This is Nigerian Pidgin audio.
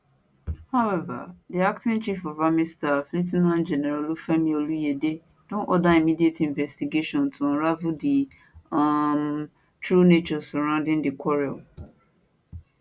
however di acting chief of army staff lieu ten ant general olufemi oluyede don order immediate investigation to unravel di um true circumstances surrounding dis quarrel